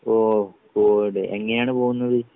ഓഹ് പോകുംല്ലേ എങ്ങിനെയാണ് പോകുന്നത്?